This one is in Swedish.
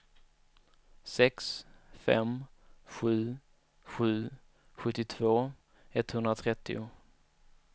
sex fem sju sju sjuttiotvå etthundratrettio